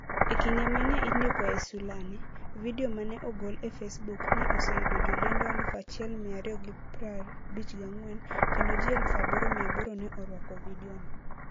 E kinde ma ne indikoe sulani, vidio ma ne ogol e Facebook, ne oseyudo jolendo 1,254 kendo ji 8,800 ne orwako vidiono.